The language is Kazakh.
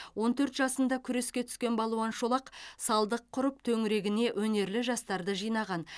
он төрт жасында күреске түскен балуан шолақ салдық құрып төңірегіне өнерлі жастарды жинаған